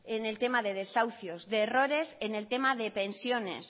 en el tema de desahucios de errores en el tema de pensiones